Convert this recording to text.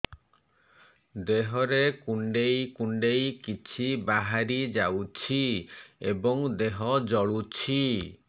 ଦେହରେ କୁଣ୍ଡେଇ କୁଣ୍ଡେଇ କିଛି ବାହାରି ଯାଉଛି ଏବଂ ଦେହ ଜଳୁଛି